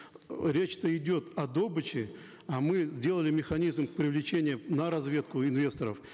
речь то идет о добыче а мы сделали механизм привлечения на разведку инвесторов